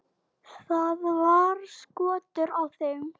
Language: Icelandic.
Það var skortur á þeim.